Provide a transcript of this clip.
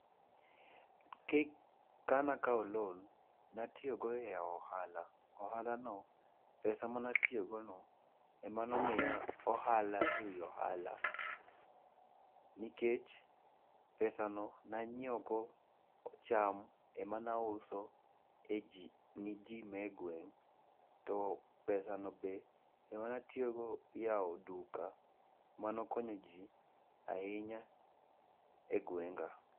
Ka nakawo loan natiyogo e ohala, ohalano, pesa manatiyogono, ema nomiya ohala e wi ohala nikech pesano nanyiewogo cham ema nauso ni ji ma e gweng,' to pesano be ema natiyogo yawo duka manokonyo ji ahinya e gwenga.